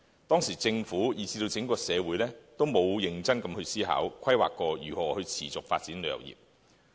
當時政府以至整個社會都沒有認真思考過、規劃過如何持續發展旅遊業。